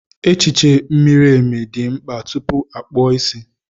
Echiche miri emi dị mkpa tupu a kpụọ isi.